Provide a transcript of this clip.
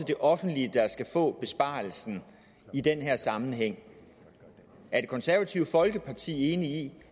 det offentlige der skal få besparelsen i den her sammenhæng er det konservative folkeparti enig i